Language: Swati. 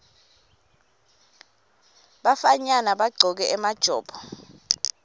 bafanyana bagcoke emajobo